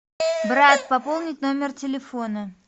брат пополнить номер телефона